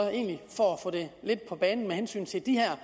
egentlig for at få det lidt på banen med hensyn til de her